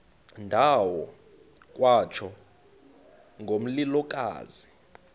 ndawo kwatsho ngomlilokazi